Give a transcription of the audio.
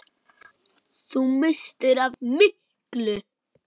Þú misstir af miklu!